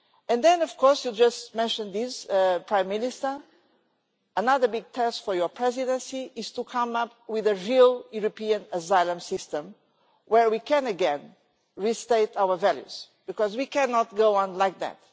And then of course, as you just mentioned, Prime Minister, another big test for your Presidency is to come up with a real European asylum system where we can again restate our values, because we cannot go on like that.